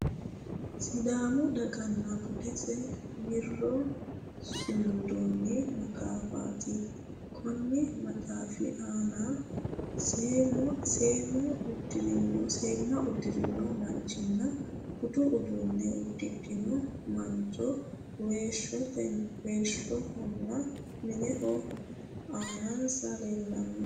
Sidaamu daganna buddessi wiiro sumundoonni maxaaffatti konni maxaaffi aanna seemma udirinno manchinna budu uudunne udidhinno mancho weeshshunna minnu aanasi leellanno